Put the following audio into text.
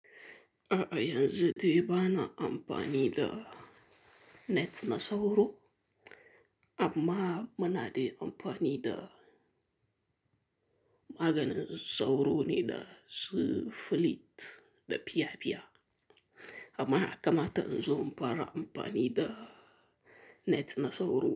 A a, yanzu de bana amfani da net na sauro amma muna dai amfani da maganin sauro ne dasu filit da fiya-fiya. Amma ya kamata inzo in fara amfani da net na sauro.